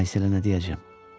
Ayselə nə deyəcəm?